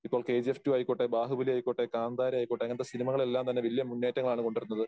ഇപ്പോൾ KGF two ആയിക്കോട്ടെ, ബാഹുബലി ആയിക്കോട്ടെ, കാന്താര ആയിക്കോട്ടെ അങ്ങനത്തെ സിനിമകൾ എല്ലാം തന്നെ വലിയ മുന്നേറ്റങ്ങളാണ് കൊണ്ടുവരുന്നത്.